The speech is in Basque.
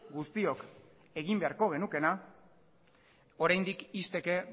guztiok egin beharko genukeena oraindik ixteke